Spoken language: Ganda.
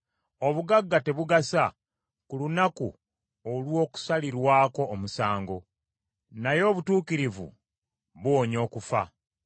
Obugagga tebugasa ku lunaku olw’okusalirwako omusango, naye obutuukirivu buwonya okufa.